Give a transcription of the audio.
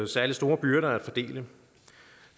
særlig store byrder at fordele